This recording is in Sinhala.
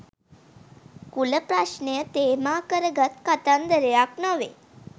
කුල ප්‍රශ්නය තේමා කරගත් කතාන්දරයක් නොවේ.